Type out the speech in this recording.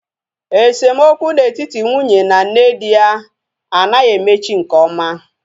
Esemokwu na etiti nwunye na nne di ya anaghị emechi nke ọma